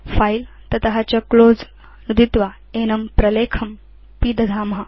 file ततश्च close नुदित्वा एनं प्रलेखं पिदधाम